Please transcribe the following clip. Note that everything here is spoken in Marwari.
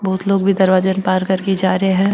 बहुत लोग भी दरवाजा ने पार करके जा रिया है।